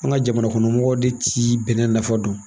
An ka jamanakɔnɔmɔgɔw de ti bɛnɛ nafa dɔn.